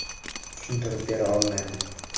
Tushuntirib bera olmayman.